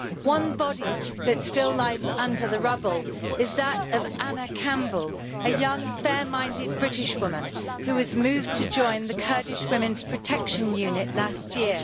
One body that still lies under the rubble is that of Anna Campbell, a young fair-minded British woman who was moved to join the Kurdish Women's Protection Unit last year.